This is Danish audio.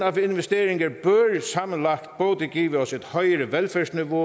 af investeringer bør sammenlagt både give os et højere velfærdsniveau